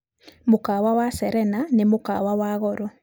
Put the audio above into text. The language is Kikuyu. Mũkawa wa Serena nĩ mũkawa wa goro.